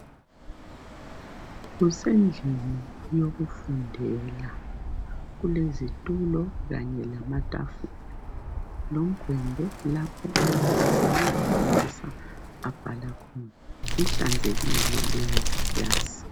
Kusendlini yokufundela kulezitulo kanye lamatafula lomgwembe lapho umbalisi nxa efundisa abhala khona. Ihlanzekile ikilasi